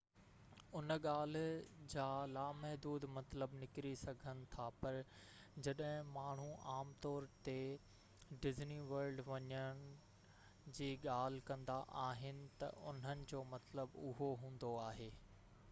ان ڳالهه جا لامحدود مطلب نڪري سگهن ٿا پر جڏهن ماڻهو عام طور تي ”ڊزني ورلڊ وڃڻ جي ڳالهه ڪندا آهن ته انهن جو مطلب اهو هوندو آهي